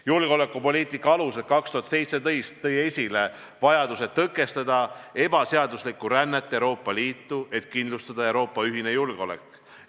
"Julgeolekupoliitika alused 2017" tõi esile vajaduse tõkestada ebaseaduslikku rännet Euroopa Liitu, et kindlustada Euroopa ühine julgeolek.